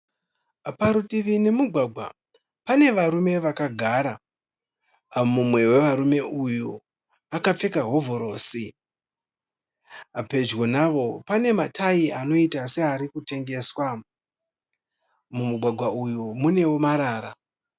Parutivi nemugwagwa pane varume vakagara. Mumwe wevarume uyu akapfeka hovhorosi. Pedyo navo pane matayi anoita seari kutengeswa. Mumugwagwa uyu munewo marara.